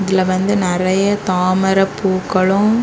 இதுல வந்து நிறைய தாமரை பூக்களு